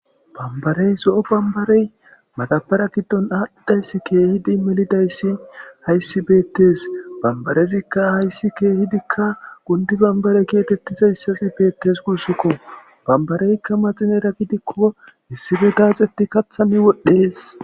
bambarey so7o bambarey madabara giddon aadhidayssi keehidi melidayssi hayssi beettes bambarezikka hayssi keehidikka gundi bambare kiyatettiza hissasi beettes guussikko bambareykka maxinera gidikko hissife daaxetti kathani wodhdhees